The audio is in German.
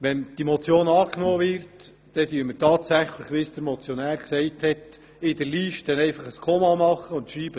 Würde diese angenommen, würden wir – wie vom Motionär erwähnt – tatsächlich in der Liste ein Komma setzen und «Dameuses» hinschreiben.